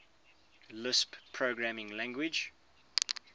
lisp programming language